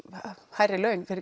hærri laun fyrir